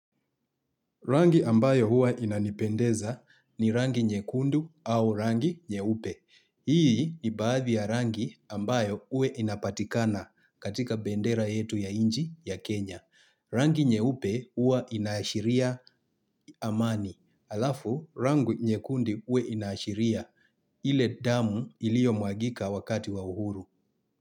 Rangi ambayo huwa inanipendeza ni rangi nyekundu au rangi nyeupe. Hii ni baadhi ya rangi ambayo huwe inapatikana katika bendera yetu ya nchi ya Kenya. Rangi nyeupe huwa inashiria amani. Alafu rangi nyekundu huwe inaashiria ile damu iliomwagika wakati wa uhuru.